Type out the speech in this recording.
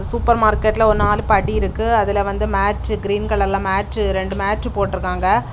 Super மார்க்கெட்ல ஒரு நாலு படி இருக்கு அதுல வந்து மேட்டு கிரீன் கலர்ல மேட்டு ரெண்டு மேட்டு போட்டுருக்காங்க.